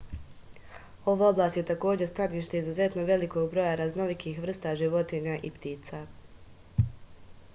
ova oblast je takođe stanište izuzetno velikog broja raznolikih vrsta životinja i ptica